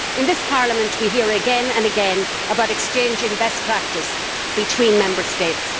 In this Parliament we hear again and again about exchanging best practice between Member States.